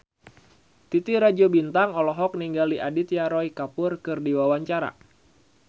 Titi Rajo Bintang olohok ningali Aditya Roy Kapoor keur diwawancara